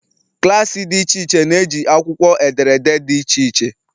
klaasị dị iche iche na-eji akwụkwọ ederede dị iche iche.